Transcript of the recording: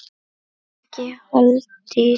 Ekki Halldís